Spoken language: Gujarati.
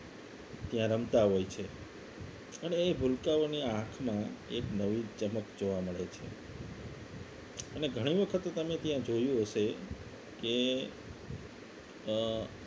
ત્યાં રમતા હોય છે અને એ ભૂલકાઓ આંખમાં એક નવી ચમક જોવા મળે છે અને ઘણી વખત તમે ત્યાં જોયું હશે કે અ